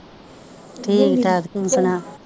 ਠੀਕ ਠਾਕ ਤੂੰ ਸੁਣਾ।